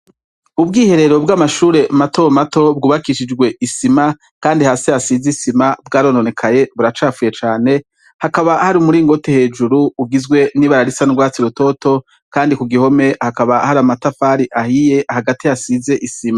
Ubwiherero bwa mashure matomato bwubakishijwe isima Kandi hasi hasize isima bwarononekaye buracafuye cane hakaba umuringoti hejuru ugizwe n'utwatsi rutoto Kandi kugihome hari amatafari ahiye Hagati hasize isima.